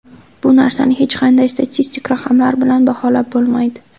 Bu narsani hech qanday statistik raqamlar bilan baholab bo‘lmaydi.